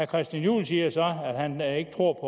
christian juhl siger så at han ikke tror